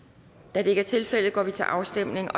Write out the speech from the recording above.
da det ikke er tilfældet går vi til afstemning